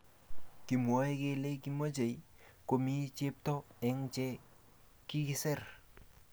kimwoe kele kimochei komii chepto eng che kikiser